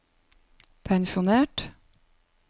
pensjonert